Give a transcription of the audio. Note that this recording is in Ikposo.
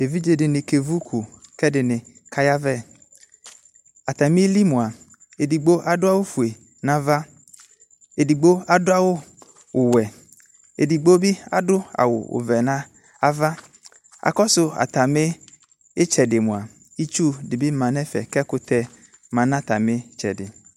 Evidze dene kevu uku kɛ ɛdene kayavɛAtame li moa edigbo ado awufue nava Edigbo ado awuwɛ, edigbo be ado awuvɛ nava Akɔso atane itsɛde moa itsu de be ma nɛfɛ kɛ ɛkutɛ ma no atame itsɛde